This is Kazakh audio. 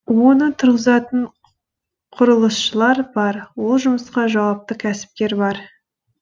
оны тұрғызатын құрылысшылар бар ол жұмысқа жауапты кәсіпкер бар